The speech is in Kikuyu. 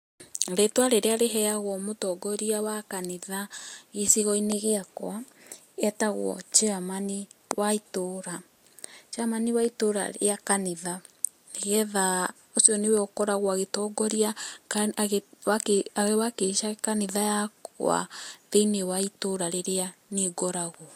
Rĩtua rĩria rĩheyagwo mũtongoria wa kanitha gĩcĩgo-inĩ gĩakwa etagwo chairman wa ĩtũũra. Chairman wa ĩtũũra rĩa kanitha .Nĩgetha ũcĩo nĩwe ũkoragwo agĩtongoria ,agĩ wakilisha kanitha yakwa thĩiniĩ wa ĩtũũra rĩria niĩ ngoragwo.